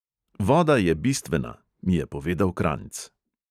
"Voda je bistvena, " mi je povedal kranjc.